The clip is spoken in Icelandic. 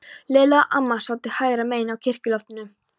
Lilla og amma sátu hægra megin á kirkjuloftinu.